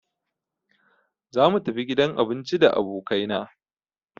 Za mu tafi gidan abinci da abokai na